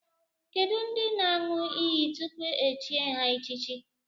Kedụ ndị ga-aṅụ iyi tupu e chie ha echichi?